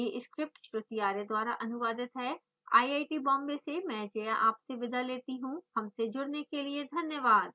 यह स्क्रिप्ट श्रुति आर्य द्वारा अनुवादित है आई आई टी बॉम्बे से मैं जया आपसे विदा लेती हूँ धन्यवाद